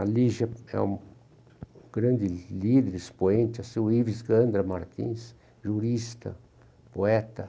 A Lígia é um grande líder expoente, o Ives Gandra Martins, jurista, poeta.